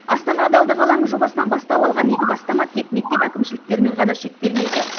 астана адалдық алаңы жобасынан бастау алған игі бастама тек мектеп әкімшіліктерімен ғана шектелмейді